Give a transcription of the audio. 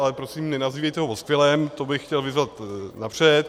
Ale prosím, nenazývejte ho paskvilem, to bych chtěl vyzvat napřed.